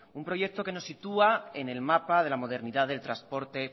un proyecto que nos sitúa en el mapa de la modernidad del trasporte